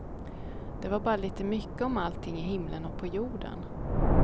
Det var bara lite mycket om allting i himlen och på jorden.